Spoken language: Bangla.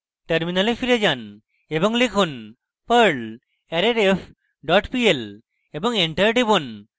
terminal ফিরে যান এবং লিখুন: perl arrayref dot pl এবং enter টিপুন